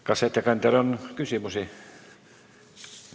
Kas ettekandjale on küsimusi?